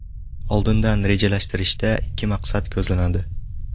Oldindan rejalashtirishda ikki maqsad ko‘zlanadi.